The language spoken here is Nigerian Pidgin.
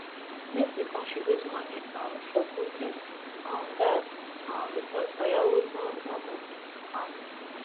make we contribute money um for cooking um gas um because firewood no no go quick cook am